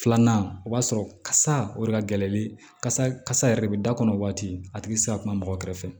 Filanan o b'a sɔrɔ kasa o de ka gɛlɛn kasa kasa yɛrɛ de bɛ da kɔnɔ waati a tigi ti se ka kuma mɔgɔ kɛrɛfɛ